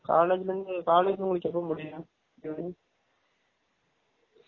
காலலேஜ்லையும் college உங்கலுக்கு எப்ப முடியும் டைய்லி